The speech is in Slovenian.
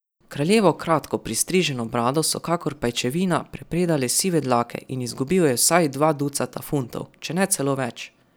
Kraljevo kratko pristriženo brado so kakor pajčevina prepredale sive dlake in izgubil je vsaj dva ducata funtov, če ne celo več.